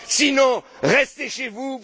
Sinon, restez chez vous!